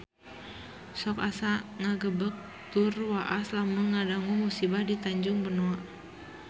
Sok asa ngagebeg tur waas lamun ngadangu musibah di Tanjung Benoa